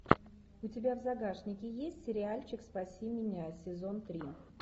у тебя в загашнике есть сериальчик спаси меня сезон три